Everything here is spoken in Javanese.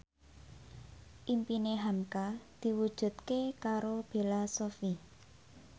impine hamka diwujudke karo Bella Shofie